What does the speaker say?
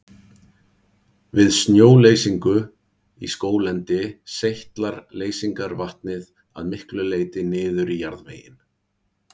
Við snjóleysingu í skóglendi seytlar leysingarvatnið að miklu leyti niður í jarðveginn.